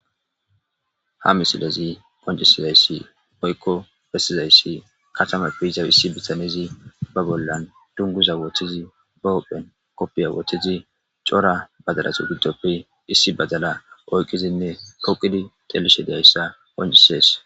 Ha misilezii woykko ha misilezii bessizayssi katamappe yiza bitanezi dunguza ba bolla woththidi ba bolla kopiya woththidi cora aataratu giddoppe issi baddalla poqidinne oyqidi dizayssa besses